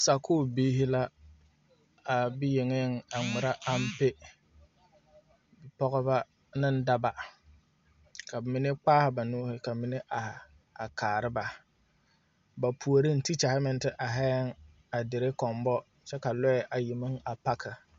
Sakuu biiri la a bi yenge a ngmira ampɛ bipɔgba ne dɔba kaba mene kpaaha ba nuuri ka mene arẽ a kaara ba ba poɔring teachari meng te arẽ a dire kombo kye ka lɔɛ ayi meng a parki.